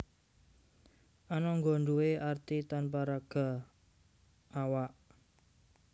Anangga nduwé arti tanpa raga/awak